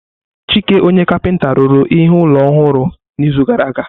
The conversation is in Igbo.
Chike ọnye kapinta rụrụ ihe ụlọ ọhụrụ n'izu gara aga.